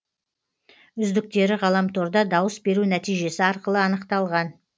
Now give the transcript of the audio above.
үздіктері ғаламторда дауыс беру нәтижесі арқылы анықталған